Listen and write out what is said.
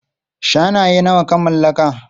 Shanaye nawa ka mallaka?